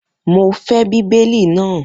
Mo fẹ́ Bíbélì náà.